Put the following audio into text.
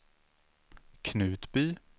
Knutby